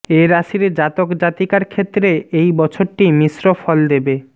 এ রাশির জাতক জাতিকার ক্ষেত্রে এই বছরটি মিশ্র ফল দেবে